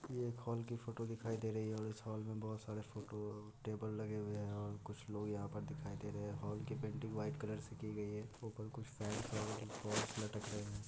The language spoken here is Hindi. ये एक हाल की फोटो धिकाई दे रही हैं इस हाल मे बहुत सारे फोटो टेबले लगे हुए हैं और कुछ लोग यहाँ पर धिकाई दे रहे हैं हाल की पेंटिंग वाइट कलर से कि गई हैं।